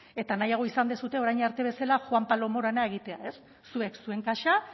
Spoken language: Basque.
eta nahiago izan duzue orain arte bezala juan pablo morana egitea zuek zuen kasa